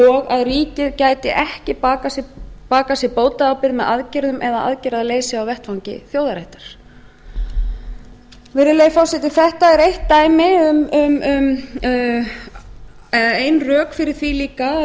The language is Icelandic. og að ríkið gæti ekki bakað sér bótaábyrgð með aðgerðum eða aðgerðarleysi á vettvangi þjóðarréttar virðulegi forseti þetta er eitt dæmi um ein rök fyrir því líka að